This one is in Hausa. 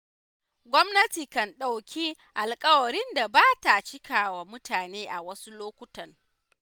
Gwamnati kan ɗauki alƙawarin da ba ta cikawa mutane a wasu lokutan.